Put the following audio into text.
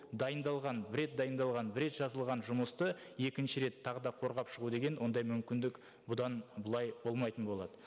дайындалған бір рет дайындалған бір рет жазылған жұмысты екінші рет тағы да қорғап шығу деген ондай мүмкіндік бұдан былай болмайтын болады